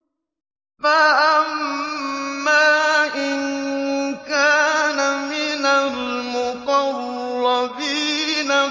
فَأَمَّا إِن كَانَ مِنَ الْمُقَرَّبِينَ